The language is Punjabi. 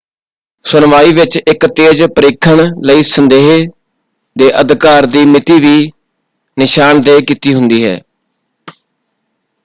ਸੁਣਵਾਈ ਵਿੱਚ ਇੱਕ ਤੇਜ਼ ਪਰੀਖਣ ਲਈ ਸੰਦੇਹ ਦੇ ਅਧਿਕਾਰ ਦੀ ਮਿਤੀ ਵੀ ਨਿਸ਼ਾਨਦੇਹ ਕੀਤੀ ਹੁੰਦੀ ਹੈ।